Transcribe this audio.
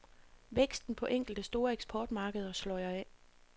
Væksten på enkelte store eksportmarkeder sløjer af.